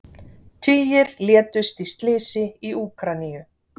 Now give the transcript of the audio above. Tugir létust í slysi í Úkraínu